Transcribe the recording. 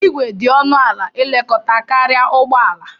Igwe dị ọnụ ala ilekọta karịa ụgbọala.